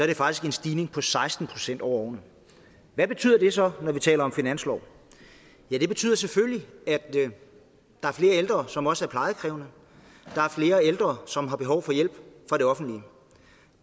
der faktisk en stigning på seksten procent over årene hvad betyder det så når vi taler om finanslov ja det betyder selvfølgelig at der er flere ældre som også er plejekrævende at der er flere ældre som har behov for hjælp fra det offentlige